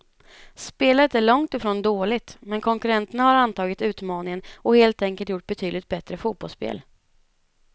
Spelet är långt ifrån dåligt, men konkurrenterna har antagit utmaningen och helt enkelt gjort betydligt bättre fotbollsspel.